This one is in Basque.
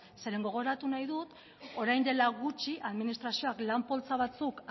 gogoratu nahi dut orain dela gutxi administrazioak lan poltsa batzuk